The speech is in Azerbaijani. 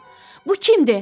Bu kimdir?